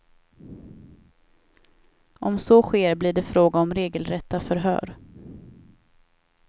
Om så sker blir det fråga om regelrätta förhör.